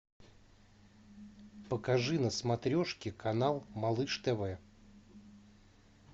покажи на смотрешке канал малыш тв